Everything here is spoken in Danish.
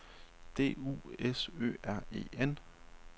D U S Ø R E N